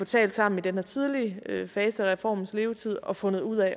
talt sammen i den her tidlige fase af reformens levetid og fundet ud